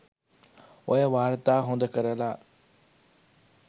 ඔය වාර්තා හොද කරලා